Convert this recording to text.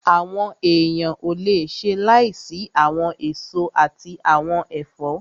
Àwọn èèyàn ò le ṣe láìsí àwọn èso àti àwọn ẹ̀fọ́